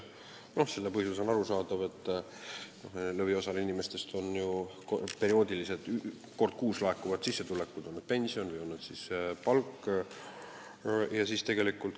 Selle põhjus on arusaadav: lõviosal inimestest on ju kord kuus laekuvad sissetulekud, on see sissetulek siis pension või palk.